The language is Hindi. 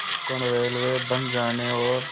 कोंकण रेलवे बन जाने और